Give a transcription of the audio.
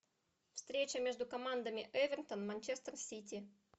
встреча между командами эвертон манчестер сити